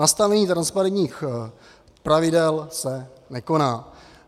Nastavení transparentních pravidel se nekoná.